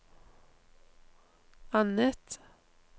annet